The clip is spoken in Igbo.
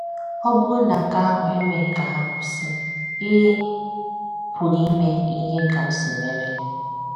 Ọ bụrụ na nke ahụ emeghị ka ha kwụsị, ị pụrụ ime ihe Kamsi mere.